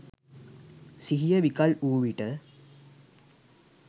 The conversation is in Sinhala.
සිහිය විකල් වූ විට